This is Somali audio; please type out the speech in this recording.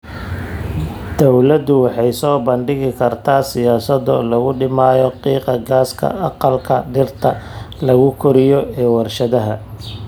Dawladdu waxay soo bandhigi kartaa siyaasado lagu dhimayo qiiqa gaaska aqalka dhirta lagu koriyo ee warshadaha.